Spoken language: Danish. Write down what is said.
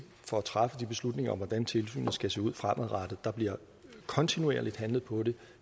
for at træffe de beslutninger om hvordan tilsynet skal se ud fremadrettet der bliver kontinuerligt handlet på det